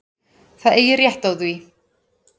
Það eigi rétt á því.